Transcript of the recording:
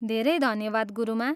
धेरै धन्यवाद, गुरुमा!